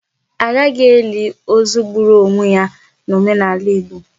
A gaghị eli ozu gburu ionwe ya n'omenala Igbo.